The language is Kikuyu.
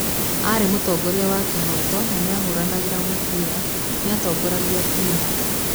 Ari mũtogoria wa kĩhoto na nĩahũranagĩra mũbira, nĩatongoragia timũ